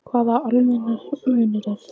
Hvaða almannahagsmunir eru það?